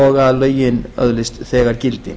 og að lögin öðlist þegar gildi